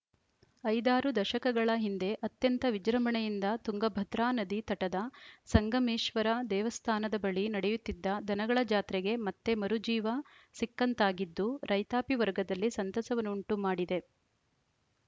ಐದಾರು ದಶಕಗಳ ಹಿಂದೆ ಅತ್ಯಂತ ವಿಜೃಂಭಣೆಯಿಂದ ತುಂಗಭದ್ರಾ ನದಿ ತಟದ ಸಂಗಮೇಶ್ವರ ದೇವಸ್ಥಾನದ ಬಳಿ ನಡೆಯುತ್ತಿದ್ದ ದನಗಳ ಜಾತ್ರೆಗೆ ಮತ್ತೆ ಮರು ಜೀವ ಸಿಕ್ಕಂತಾಗಿದ್ದು ರೈತಾಪಿ ವರ್ಗದಲ್ಲಿ ಸಂತಸವನ್ನುಂಟು ಮಾಡಿದೆ